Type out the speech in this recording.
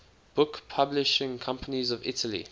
book publishing companies of italy